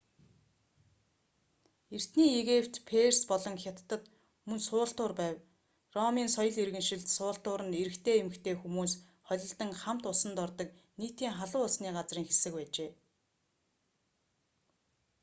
эртний египет перс болон хятадад мөн суултуур байв ромын соёл иргэншилд суултуур нь эрэгтэй эмэгтэй хүмүүс холилдон хамт усанд ордог нийтийн халуун усны газрын хэсэг байжээ